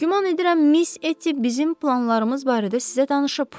Güman edirəm Miss Etti bizim planlarımız barədə sizə danışıb.